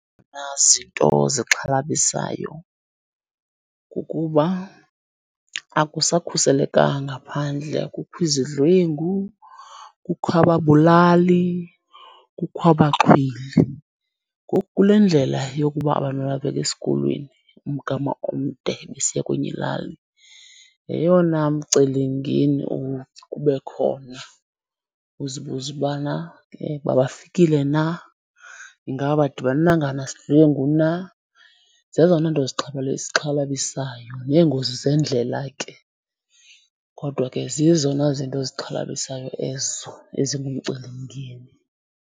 Nazinto zixhalabisayo kukuba akusakhuselekanga phandle kukho izidlwengu, kukho ababulali, kukho abaxhwili. Ngoku kule ndlela yokuba abantwana bebheka esikolweni umgama omde besiya kwenye ilali yeyona mcelimngeni ube khona. Uzibuze ubana ke uba bafikile na, ingaba abadibanga nasidlwengu na. Zezona nto zixhalabisayo neengozi zeendlela ke, kodwa ke zizona zinto zixhalabisayo ezo ezingumcelimngeni.